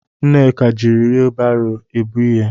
Nneka jiri wheelbarrow ebu ihe.